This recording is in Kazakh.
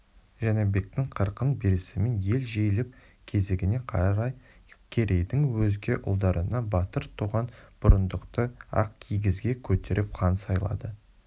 жәнібектің қырқын берісімен ел жиылып кезегіне қарай керейдің өзге ұлдарынан батыр туған бұрындықты ақ кигізге көтеріп хан сайлады